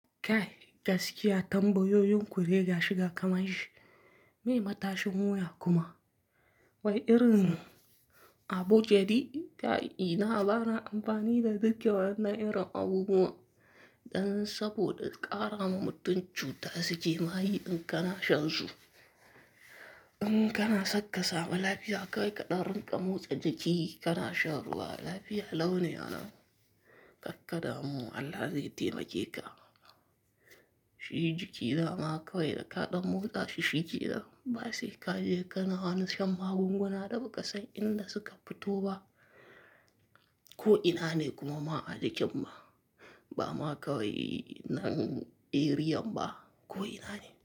Kai gaskiya tambayoyin ku dai gashi ga kamanshi, me matashin mu ya kuma? Wani rin abokai ji kai ina baran amfani da duk yawan na irin abubuwa, dan saboda ƙara ma mutun cuta suke ma yi in kana shan su. In kana san kasamu lafiya kawai kaɗan, rinƙa motsa jiki kana shan ruwa lafiya laune kakka damu Allah zai taimake ka. Shi jiki dama kawai da kaɗan motsa shi shikenan, ba sai ka je kana shan magunguna da ba ka san inda suka fito ba. Ko ina ne kuma ma'ajikin ma, ba ma kawai nan eriyan ba ko ina ne.